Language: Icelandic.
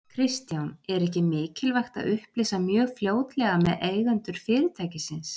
Kristján: Er ekki mikilvægt að upplýsa mjög fljótlega með eigendur fyrirtækisins?